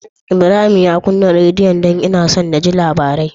Ibrahim ya kunna rediyon? Dan ina so naji labarai